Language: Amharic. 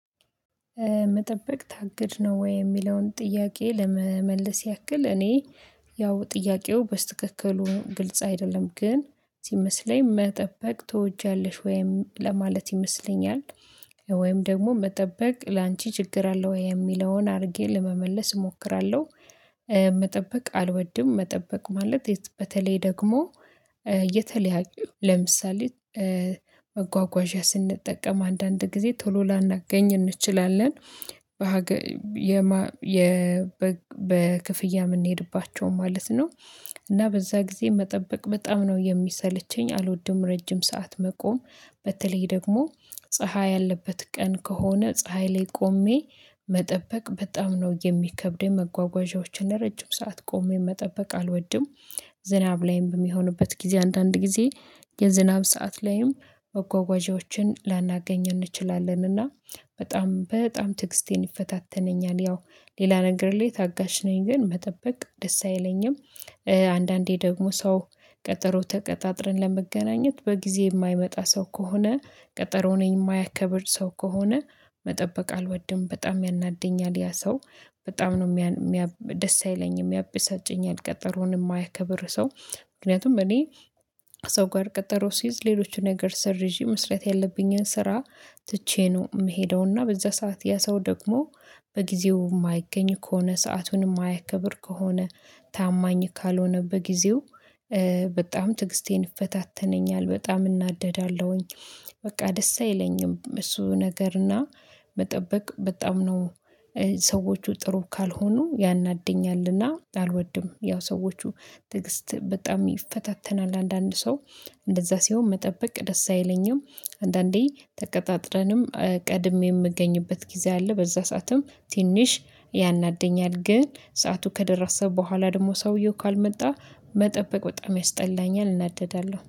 መጠበቅ ታግድ ነው ወይ የሚለውን ጥያቄ ለመመለስ ያክል እኔ ያው ጥያቄው በስተክክሉ ግልጽ አይደለም ግን ሲመስለኝ መጠበቅ ትወጃለሽ ወይም ለማለት ይመስለኛል። ወይም ደግሞ መጠበቅ ላንቺ ችግር አለው ወይ የሚለውን አድርጌ ለመመለስ እሞክራለሁ። መጠበቅ አልወድም መጠበቅ ማለት በተለይ ደግሞ የተለያየ ለምሳሌ መጓጓዣ ስንጠቀም አንዳንድ ጊዜ ቶሎ ላናገኝ እንችላለን። በሀገር በክፍያ የምንሄድባቸው ማለት ነው። እና በዛ ጊዜ መጠበቅ በጣም ነው የሚሰለቸኝ አልወድም። ረጅም ሰዓት መቆም በተለይ ደግሞ ፀሀይ ያለበት ቀን ከሆነ ፀሀይ ላይ ቆሜ መጠበቅ በጣም ነው የሚከብደኝ። መጓጓዣዎችን ረጅም ሰዓት ቆሞ የመጠበቅ አልወድም። ዝናብ ላይም በሚሆንበት ጊዜ አንዳንድ ጊዜ የዝናብ ሰዓት ላይም መጓጓዣዎችን ላናገኝ እንችላለንና በጣም በጣም ትግስቴን ይፈታተነኛል። ያው ሌላ ነገር ላይ ታጋሽ ነኝ ግን መጠበቅ ደስ አይለኝም። አንዳንዴ ደግሞ ሰው ቀጠሮ ተቀጣጥረን ለመገናኘት በጊዜ የማይመጣ ሰው ከሆነ ቀጠሮውን የማያከብር ሰው ከሆነ መጠበቅ አልወድም በጣም ያናደኛል። ያ ሰው በጣም ነው ደስ አይለኝም። ያበሳጨኝል ቀጠሮውን የማያከብር ሰው ምክንያቱም እኔ ሰው ጋር ቀጠሮ ሲይዝ ሌሎችን ነገር ሰርዥ መስራት ያለብኝን ስራ ትቼ ነው የምሄደው። እና በዛ ሰዓት ያ ሰው ደግሞ በጊዜው የማይገኝ ከሆነ ሰአቱን የማያከብር ከሆነ ታማኝ ካልሆነ በጊዜው በጣም ትግስቴን ይፈታተነኛል በጣም እናደዳለሁኝ። በቃ ደስ አይለኝም እሱ ነገርና መጠበቅ በጣም ነው። ሰዎቹ ጥሩ ካልሆኑ ያናደኛልና አልወድም ያው ሰዎች ትዕግስት በጣም ይፈታተናል አንዳንድ ሰው እንደዛ ሲሆን መጠበቅ ደስ አይለኝም። አንዳንዴ ተቀጣጥረንም ቀድሜ የምገኝበት ጊዜ አለ በዛ ሰዓትም ትንሽ ያናደኛል ግን ሰዓቱ ከደራሰ በኋላ ደግሞ ሰውየው ካልመጣ መጠበቅ በጣም ያስጠላኛል እናደዳለሁ